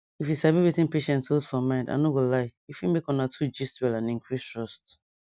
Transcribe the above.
if you sabiwetin patients hold for mind i no go lie e fit make una two gist well and increase trust